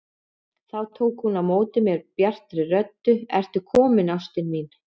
Þá tók hún á móti mér bjartri röddu: Ertu kominn ástin mín!